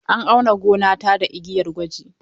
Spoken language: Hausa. An auna gonata da igiyar gwaji.